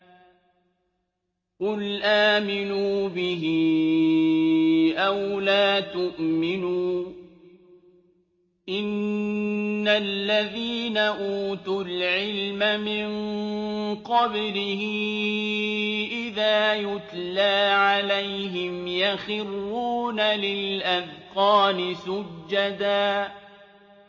قُلْ آمِنُوا بِهِ أَوْ لَا تُؤْمِنُوا ۚ إِنَّ الَّذِينَ أُوتُوا الْعِلْمَ مِن قَبْلِهِ إِذَا يُتْلَىٰ عَلَيْهِمْ يَخِرُّونَ لِلْأَذْقَانِ سُجَّدًا